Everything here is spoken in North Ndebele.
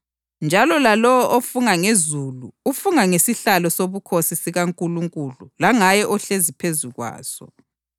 Njalo lalowo ofunga ngezulu ufunga ngesihlalo sobukhosi sikaNkulunkulu langaye ohlezi phezu kwaso.